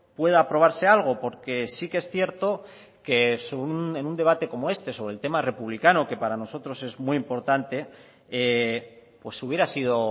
pueda aprobarse algo porque sí que es cierto que en un debate como este sobre el tema republicano que para nosotros es muy importante hubiera sido